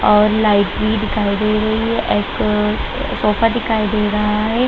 और लाइट भी दिखाई दे रही है एक सोफा दिखाई दे रहा है।